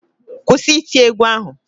Kwụsị iti égwú ahụ!